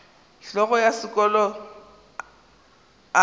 hlogo ya sekolo a mo